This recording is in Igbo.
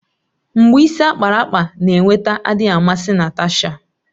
Mgbu isi ákpáraàkpà na-eweta adịghị amasị Natasha.